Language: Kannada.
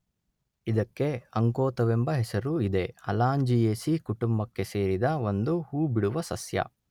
ಇದಕ್ಕೆ ಅಂಕೋತವೆಂಬ ಹೆಸರೂ ಇದೆ.ಅಲಾಂಜಿಯೇಸೀ ಕುಟುಂಬಕ್ಕೆ ಸೇರಿದ ಒಂದು ಹೂ ಬಿಡುವ ಸಸ್ಯ.